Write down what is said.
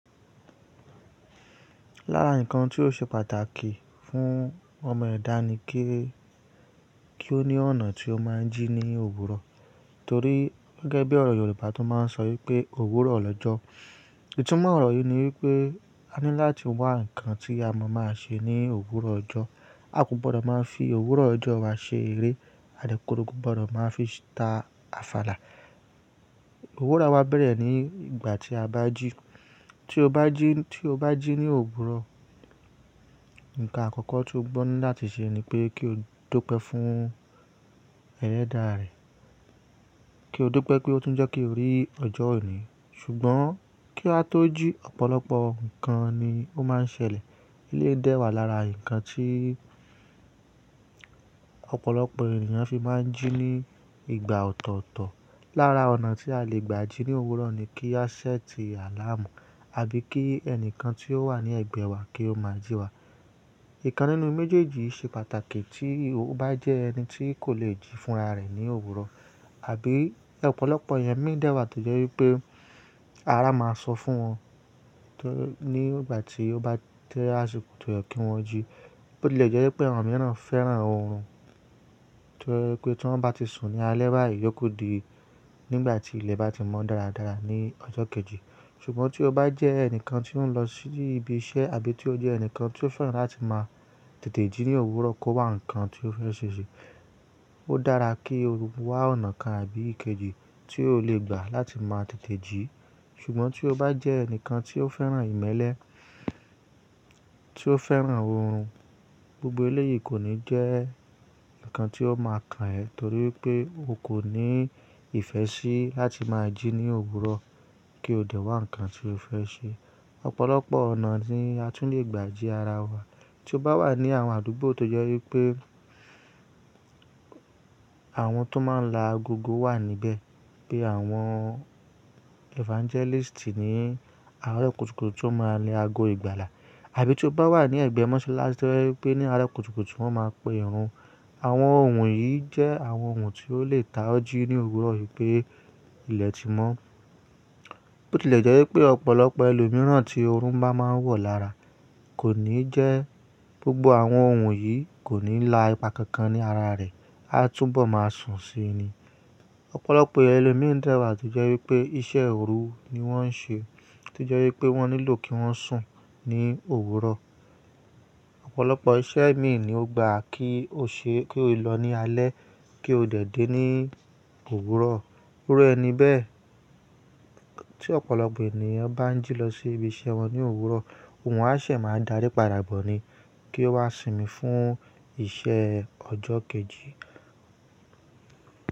Lára ǹkan tí ó ṣe pàtàkì fún ọmọ ẹ̀dá ni kí, kí ó ní ọ̀nà tí ó máa ń jí ní òwúrọ̀ torí gẹ́gẹ́ bí ọ̀rọ̀ Yorùbá tó máa ń sọ wípé òwúrọ̀ lọ́jọ́. Itúmọ̀ ọ̀rọ̀ yìí ni wípé a ní láti wá ǹkan tí a máa máa ṣe ní òwúrọ̀ ọjọ́. A kò gbọdọ̀ máa fi òwúrọ̀ ọjọ́ wa ṣe eré àdẹ́kọrò, kò gbọdọ̀ máa fi ta àfàlà. Òwúrọ̀ wa bẹ̀rẹ̀ ní ìgbà tí a bá jí. Tí o bá jí, tí o bá jí ní òwúrọ̀, ǹkan àkọ́kọ́ tí o gbo ní láti ṣe ni pé kí o dupe fún ẹlẹ́dàá rẹ. Kí o dupe pé ó tún jẹ́ kí o rí ọjọ́ ení. Ṣùgbọ́n kí a tó jí ọ̀pọ̀lọpọ̀ ǹkan ni ó máa ń ṣẹlẹ̀. Ilé ń dẹ́wàá lára ǹkan tí ọ̀pọ̀lọpọ̀ ènìyàn fi máa ń jí ní ìgbà ọ̀tọ̀ọ̀tọ̀. Lára ọ̀nà tí a lè gbà jí ní òwúrọ̀ ni kí a ṣẹ́ẹ̀tì àláàmù àbí kí ẹnìkan tí ó wà ní ẹ̀gbẹ́ wa kí ó máa jí wa. Ìkan nínú méjèèjì yii ṣe pàtàkì tí ó bá jẹ́ ẹni tí kò le jí fúnra rẹ̀ ní òwúrọ̀. Abí ọ̀pọ̀lọpọ̀ èeyàn míi dẹ́wàá tó jẹ́ wípé ara máa sọ fún wọn ní ìgbà tí ó bá to àsìkò tó yẹ kí wọ́n jí. Bó tilẹ̀ jẹ́ wípé àwọn mìíràn fẹ́ràn oorun tó je wipé tí wọ́n bá ti sùn ní alẹ́ báyìí iyóku di nígbà tí ilẹ̀ bá ti mọ́ dáradára ní ọjọ́ kejì. Ṣùgbọ́n tí o bá jẹ́ ẹnìkan tí ó ń lọ sí ibi iṣẹ́ àbí tí ó jẹ́ ẹnìkan tí ó fẹ́ràn láti máa tètè jí ní òwúrọ̀ kó wá ǹkan tí ó fẹ́ ṣe ṣe, ó dára kí o wá ọ̀nà kan àbí ìkejì tí o lè gbà láti máa tètè jí. Ṣùgbọ́n tí o bá jẹ́ ẹnìkan tí ó fẹ́ràn ìmẹ́lẹ́, tí ó fẹ́ràn oorun gbogbo eléyìí kò ní jẹ́ ǹkan tí ó máa kan ẹ torí wipé o kò ní ìfẹ́ sí láti máa jí ní òwúrọ̀ kí o dẹ̀ wá ǹkan tí o fẹ́ ṣe. Ọ̀pọ̀lọpọ̀ ọ̀nà ni a tún lè gbà jí ara wa. Tí o bá wà ní àwọn àdúgbò tó jẹ́ wípé àwọn tó máa ń la agogó wà níbẹ̀, bi àwọn evangelist ni àárọ̀ kùtùkùtù ti ó máa la aago ìgbàlà. Abí tí o bá wà ní ẹ̀gbẹ́ mọ́sálásí tó jẹ́ wípé ní àárọ̀ kùtùkùtù wọ́n máa pè irun. Àwọn ohun wonyìí jẹ́ àwọn ohun tí ó lè ta ọ́ jí ní òwúrọ̀ wípé ilẹ̀ ti mọ́. Bó tilẹ̀ jẹ́ wípé ọ̀pọ̀lọpọ̀ ẹlòmíràn tí oorun bá máa ń wọ̀ lára kò ní jẹ́ gbogbo àwọn ohun yìí kò ní la ipa kankan ní ara rẹ̀, a túnbọ̀ máa sùn síi ni. Ọ̀pọ̀lọpọ̀ èeyàn elomíi ń dẹ́wàá tó jẹ́ wípé iṣẹ́ òru ni wọ́n ń ṣe tó jẹ́ wípé wọ́n nílò kí wọ́n sùn ní òwúrọ̀. Ọ̀pọ̀lọpọ̀ iṣẹ́ mií ni ó gba kí o ṣe kí o lọ ní alẹ́ kí o dẹ̀ dé ní òwúrọ̀. Iru ẹni bẹ́ẹ̀ tí ọ̀pọ̀lọpọ̀ ènìyàn bá ń jí lọ sí ibi iṣẹ́ wọn ní òwúrọ̀, òhun á se máa darí pàdà bọ̀ ni kí ó wá sinmi fún iṣẹ́ ọjọ́ kejì.